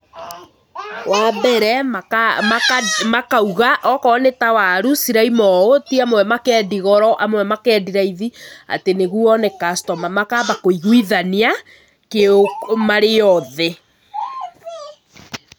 Wa mbere, makauga, okorwo nĩ ta waru ciraima ũũ, ti amwe makendi goro, amwe makendi raithi nĩguo one customer. Makaamba kũiguithania marĩ othe.